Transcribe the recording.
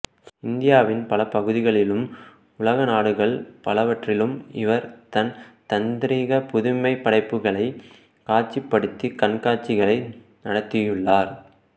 இந்தியாவின் பல பகுதிகளிலும் உலகநாடுகள் பலவற்றிலும் இவர் தன் தந்ரீக புதுமைப்படைப்புகளை காட்சிப்படுத்தி கண்காட்சிகளை நடத்தியுள்ளார்